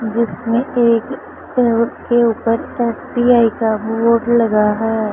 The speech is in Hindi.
जिसने एक के उपर एस_बी_आई का बोर्ड लगा है।